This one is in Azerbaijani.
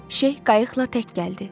Şeyx qayıqla tək gəldi.